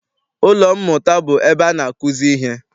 Ụlọ mmụta bụ ebe ana akuzi ihe.